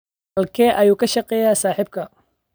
Halkee ayuu ka shaqeeyaa saaxiibkaa?